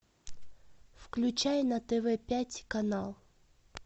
включай на тв пять канал